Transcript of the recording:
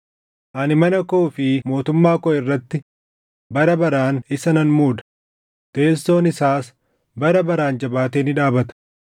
Ani mana koo fi mootummaa koo irratti bara baraan isa nan muuda; teessoon isaas bara baraan jabaatee ni dhaabata.’ ”